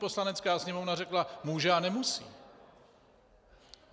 Poslanecká sněmovna řekla může a nemusí.